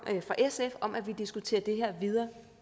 fra sf om at vi diskuterer det her videre